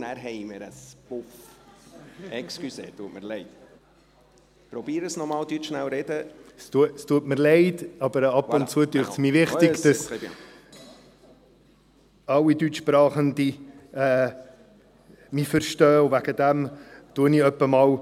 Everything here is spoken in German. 2 Mio. Franken mit, welchen … Es tut mir leid, aber ab und zuerscheint esmirwichtigdass alleDeutschsprachigenmich verstehen Deshalbmacheich ab